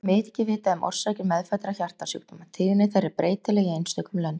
Ekki er mikið vitað um orsakir meðfæddra hjartasjúkdóma: tíðni þeirra er breytileg í einstökum löndum.